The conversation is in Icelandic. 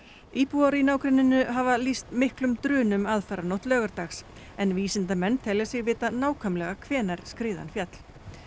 íbúar í nágrenninu hafa lýst miklum drunum aðfaranótt laugardags en vísindamenn telja sig vita nákvæmlega hvenær skriðan féll